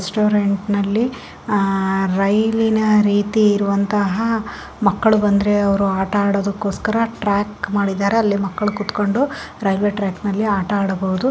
Restaurant ನಲ್ಲಿಅಹ್ ರೈಲಿನ ರೀತಿ ಇರುವಂತಹ ಮಕಳ್ಳು ಬಂದ್ರೆ ಅವರು ಆಟಡೋಕೋಕೆಸ್ಕರ ಟ್ರ್ಯಾಕ್ ಮಾಡಿದ್ದಾರೆ ಅಲ್ಲಿ ಮಕಳ್ಳು ಕುತ್ಕೊಂಡು ರೈಲ್ವೆ ಟ್ರ್ಯಾಕ್ನಲ್ಲಿ ಆಟ ಆಡಬಹುದು.